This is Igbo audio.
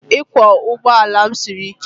Ịkwọ ụgbọ ala m siri ike